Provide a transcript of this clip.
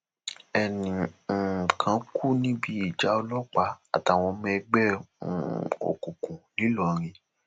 ẹnì um kan kú níbi ìjà ọlọpàá àtàwọn ọmọ ẹgbẹ um òkùnkùn ńìlọrin